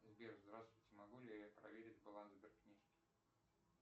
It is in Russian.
сбер здравствуйте могу ли я проверить баланс сберкнижки